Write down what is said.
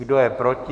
Kdo je proti?